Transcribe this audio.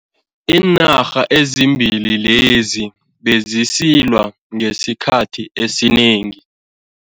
Iinarha ezimbili lezi bezisilwa esikhathini esinengi.